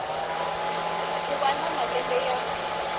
ku va na malembe ya